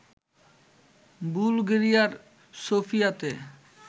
বুলগেরিয়ার সোফিয়াতে